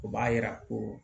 O b'a yira ko